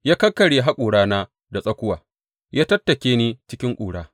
Ya kakkarya haƙorana da tsakuwa; ya tattake ni cikin ƙura.